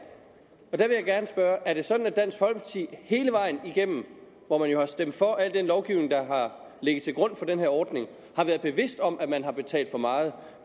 er sådan at dansk folkeparti hele vejen igennem hvor man jo har stemt for al den lovgivning der har ligget til grund for den her ordning har været bevidst om at man har betalt for meget